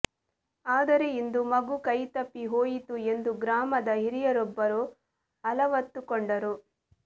ಆದರೆ ಇಂದು ಮಗು ಕೈತಪ್ಪಿ ಹೋಯಿತು ಎಂದು ಗ್ರಾಮದ ಹಿರಿಯೊಬ್ಬರು ಅಲವತ್ತುಕೊಂಡರು